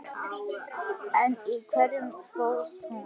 En í hverju fólst hún?